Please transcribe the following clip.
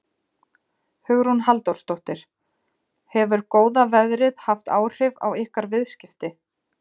Hugrún Halldórsdóttir: Hefur góða veðrið haft áhrif á ykkar viðskipti?